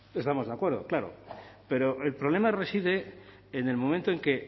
estamos de acuerdo claro pero el problema reside en el momento en que